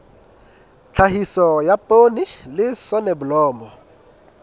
tlhahiso ya poone le soneblomo